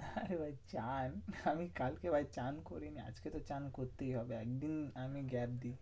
নারে ভাই চান আমি কালকে ভাই চান করিনি। আজকে তো চান করতেই হবে একদিন আমি gap দিই।